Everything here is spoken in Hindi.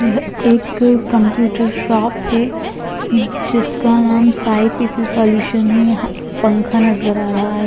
यह एक कंप्यूटर शॉप है। जिसका नाम साईं पी_सी सॉल्यूशन है। यहां एक पंखा नजर आ रहा है।